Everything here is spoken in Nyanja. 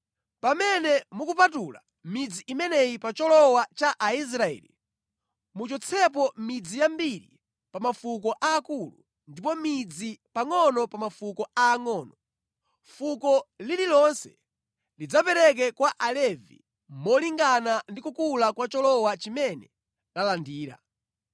Pamene mukupatula midzi imeneyi pa cholowa cha Aisraeli, muchotsepo midzi yambiri pa mafuko aakulu, ndipo midzi pangʼono pa mafuko aangʼono. Fuko lililonse lidzapereka kwa Alevi molingana ndi kukula kwa cholowa chimene lalandira.”